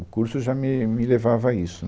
O curso já me me levava a isso.